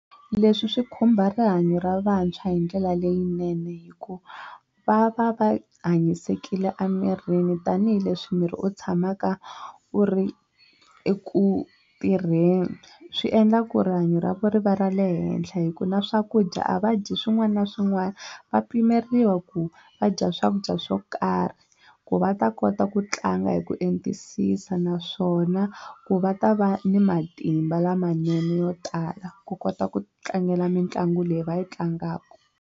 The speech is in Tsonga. Leswi swi khumba rihanyo ra vantshwa hi ndlela leyinene hikuva va va va hanyisekile emirini tanihileswi miri wu tshamaka wu ri eku tirheni swi endla ku rihanyo ra vona ri va ra le henhla hi ku na swakudya a va dyi swin'wana na swin'wana va pimeriwa ku va dya swakudya swo karhi ku va ta kota ku tlanga hi ku entisisa naswona ku va ta va ni matimba lamanene yo tala ku kota ku tlangela mitlangu leyi va yi tlangaka.